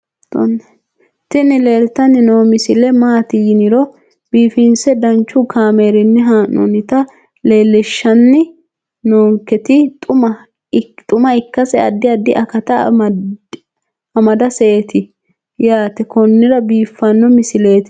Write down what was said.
tini leeltanni noo misile maaati yiniro biifinse danchu kaamerinni haa'noonnita leellishshanni nonketi xuma ikkase addi addi akata amadaseeti yaate konnira biiffanno misileeti tini